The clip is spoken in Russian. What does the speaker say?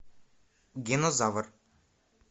динозавр